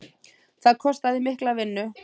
Það kostaði mikla vinnu.